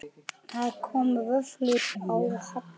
Það komu vöflur á Halla.